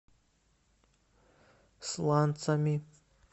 сланцами